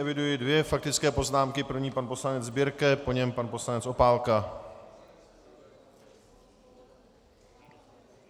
Eviduji dvě faktické poznámky, první pan poslanec Birke, po něm pan poslanec Opálka.